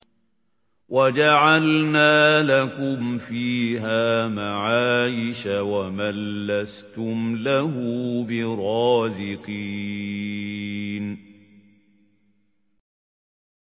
وَجَعَلْنَا لَكُمْ فِيهَا مَعَايِشَ وَمَن لَّسْتُمْ لَهُ بِرَازِقِينَ